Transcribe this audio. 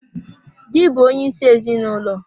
Dị bụ onyeisi ezinụlọ.